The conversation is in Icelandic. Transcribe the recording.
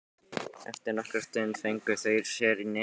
Eftir nokkra stund fengu þeir sér í nefið.